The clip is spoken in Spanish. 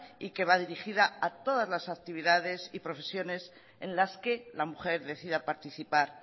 y que va dirigida a todas las actividades y profesiones en las que la mujer decida participar